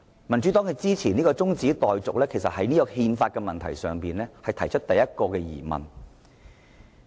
民主黨支持這項中止待續議案，其實就憲法的問題提出了第一個疑問。